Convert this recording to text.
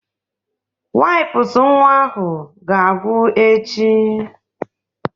Wipụsụ nwa ga-agwụ echi.